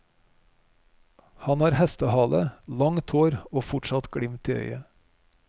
Han har hestehale, langt hår og fortsatt glimt i øyet.